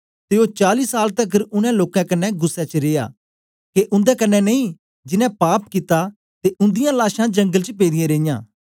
ते ओ चाली साल तकर उनै लोकें कन्ने गुस्सै च रिया के उन्दे कन्ने नेई जिनैं पाप कित्ता ते उन्दिआं लाशां जंगल च पेदीयां रेयां